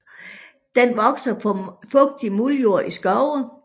Den vokser på fugtig muldbund i skove